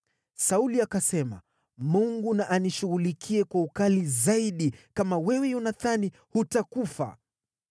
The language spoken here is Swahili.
Sauli akasema, “Mungu na anishughulikie kwa ukali zaidi kama wewe Yonathani hutakufa.”